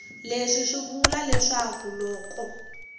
leswi swi vula leswaku loko